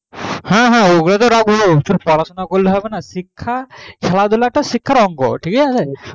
হ্যাঁ হ্যাঁ ওগুলো তো রাখবো তো শুধু পড়াশোনা করলে হবে না খেলাধুলো টা শিক্ষার একটা অঙ্গ ঠিক আছে